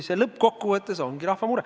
See lõppkokkuvõttes ongi rahva mure.